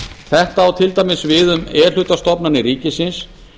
þetta á til dæmis við um e hluta stofnanir ríkisins